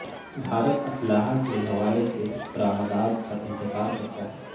بھارت اسلحہ کے ہوالے سے برامدات پر انحصار کرتا ہے